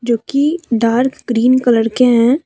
जोकि dark green colour के हैं।